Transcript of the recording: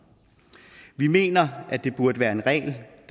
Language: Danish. vi mener at der burde være en regel